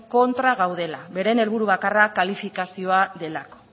kontra gaudela beren helburu bakarra kalifikazioa delako